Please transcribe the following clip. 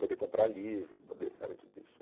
Poder comprar livro, poder, sabe, tudo isso.